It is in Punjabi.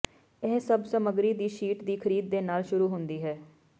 ਇਹ ਸਭ ਸਮੱਗਰੀ ਦੀ ਸ਼ੀਟ ਦੀ ਖਰੀਦ ਦੇ ਨਾਲ ਸ਼ੁਰੂ ਹੁੰਦੀ ਹੈ